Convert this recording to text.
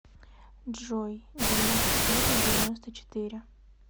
джой девяносто пять на девяносто четыре